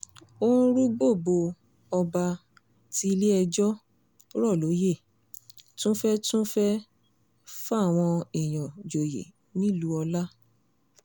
ó ń rúgbó bò ó ọba tí ilé-ẹjọ́ rọ̀ lóyè tún fẹ́ẹ́ tún fẹ́ẹ́ fáwọn èèyàn joyè nílùú ọ̀la